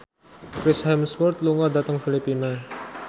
Chris Hemsworth lunga dhateng Filipina